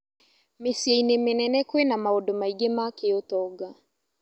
Mĩciĩ-inĩ mĩnene kwĩna maũndũ maingĩ ma kĩũtonga.